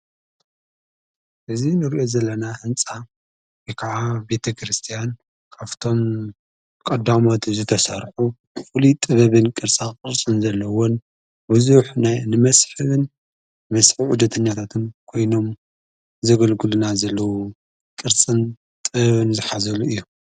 እዝ ንርኦ ዘለና ሕንፃ ከዓ ቤተ ክርስቲያን ካፍቶም ቛዳሞት ዝተሣርሑ ዂሉ ጥበብን ቅርጻ ክርስን ዘለውን ብዙኅ ናይ ንመስሕብን መስሕብ ኡደትኛታትን ኮይኖም ዘገልግሉና ዘለዉ ቕርጽን ጥበብን ዝኃዘሉ እዮም።